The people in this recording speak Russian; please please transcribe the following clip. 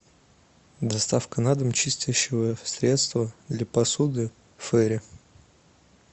доставка на дом чистящего средства для посуды фейри